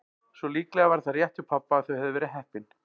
Svo líklega var það rétt hjá pabba að þau hefðu verið heppin.